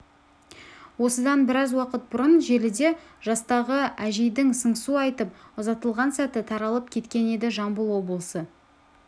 осыдан біраз уақыт бұрын желіде жастағы әжейдің сыңсу айтып ұзатылған сәті таралып кеткен еді жамбыл облысы